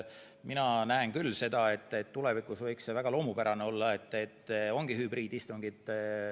Mina näen küll, et tulevikus võiks see olla väga loomulik, et ongi hübriidistungid.